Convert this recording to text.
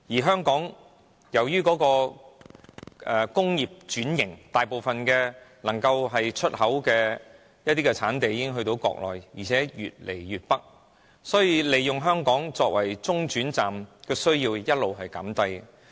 香港經濟已轉型，大部分出口貨品的產地已經轉移國內，而且越搬越北，所以，以香港作為中轉站的需要持續減低。